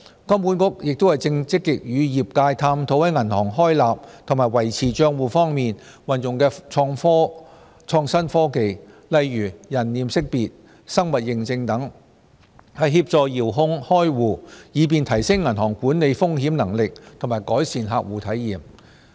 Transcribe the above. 金管局亦正積極與業界探討在銀行開立及維持帳戶方面運用創新科技，例如人臉識別、生物認證等，協助遙距開戶，以便提升銀行管理風險能力及改善客戶體驗。